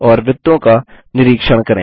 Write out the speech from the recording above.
और वृत्तों का निरीक्षण करें